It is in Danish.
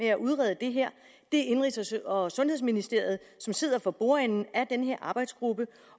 at udrede det her det er indenrigs og sundhedsministeriet der sidder for bordenden af den her arbejdsgruppe